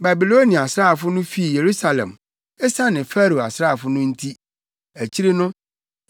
Babilonia asraafo no fii Yerusalem, esiane Farao asraafo no nti akyiri no,